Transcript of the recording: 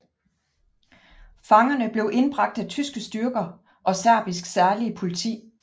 Fangerne blev indbragt af tyske styrker og Serbisk særlige politi